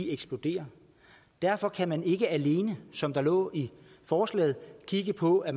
eksploderer derfor kan man ikke alene som der lå i forslaget kigge på at